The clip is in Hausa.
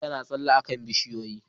Birin na ta tsalle a kan bishiyoyi